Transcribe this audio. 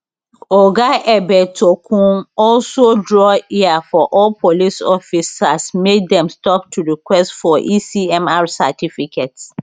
oga egbetokoun also draw ear for all police officers make dem stop to request for ecmr certificates